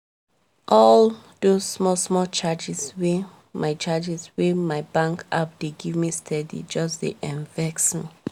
all those small small charges wey my charges wey my bank app dey gimme steady just dey um vex me